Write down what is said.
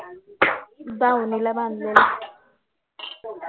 दावणीला बांधलेले